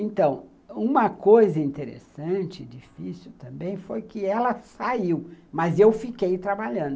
Então, uma coisa interessante, difícil também, foi que ela saiu, mas eu fiquei trabalhando.